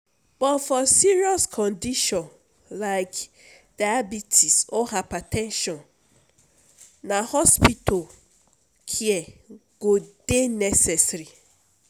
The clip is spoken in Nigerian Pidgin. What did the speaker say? but for serious condition like diabites or hyber ten sion na hospital care go dey necessary.